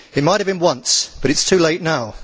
It might have been once, but it is too late now.